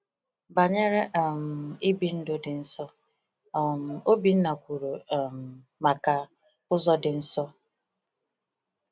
Banyere um I bi ndụ dị nsọ, um Obinna kwuru um maka “Ụzọ dị Nsọ.”